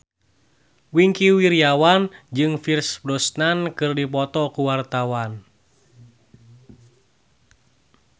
Wingky Wiryawan jeung Pierce Brosnan keur dipoto ku wartawan